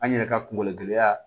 An yɛrɛ ka kungologɛ gɛlɛya